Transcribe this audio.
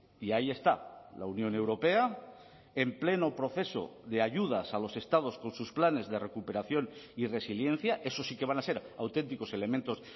y ahí está la unión europea en pleno proceso de ayudas a los estados con sus planes de recuperación y resiliencia esos sí que van a ser auténticos elementos